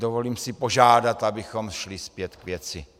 Dovolím si požádat, abychom šli zpět k věci.